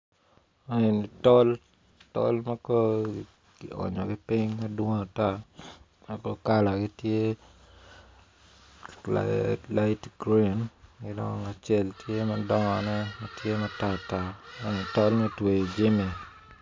Eni tol tol ma kong kionyogi piny ma kono kalagi tye light grin ki dong acel tye madongone ma tye matar tar ma eni tol me tweyo jami.